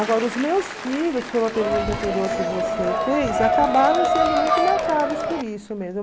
Agora, os meus filhos, foi uma pergunta anterior que você fez, acabaram sendo muito marcados por isso mesmo.